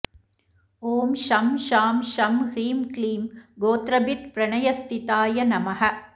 ॐ शं शां षं ह्रीं क्लीं गोत्रभित्प्रणयस्थिताय नमः